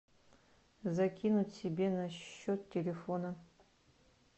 закинуть себе на счет телефона